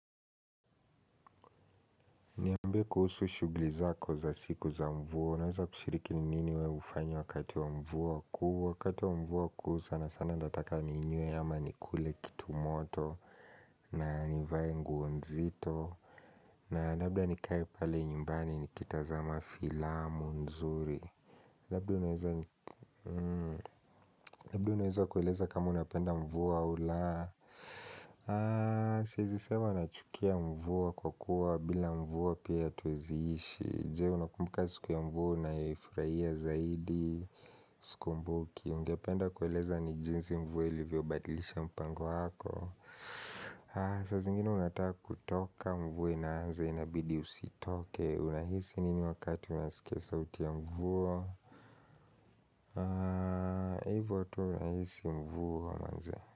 Niambie kuhusu shugli zako za siku za mvua, unaweza kushiriki ni nini we hufanya wakati wa mvua kuu Wakati wa mvua kuu sana sana ndataka ninywe ama nikule kitu moto na nivae nguo nzito na labda nikae pale nyumbani nikitazama filamu nzuri Labda unaweza kueleza kama unapenda mvua au laa Siezi sema nachukia mvua kwa kuwa bila mvua pia tuweziishi Jee, unakumbuka siku ya mvua unayoifurahia zaidi Sikumbuki, ningependa kueleza ni jinsi mvua ilivyobadilisha mpango wako saa zingine unataka kutoka mvua inaanza inabidi usitoke Unahisi nini wakati unasikia sauti ya mvua hivo tu nahisi mvua manze.